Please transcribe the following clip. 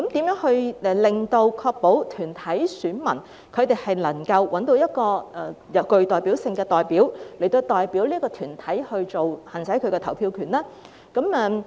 如何確保團體選民能夠找到具代表性的代表，來代表團體行使投票權？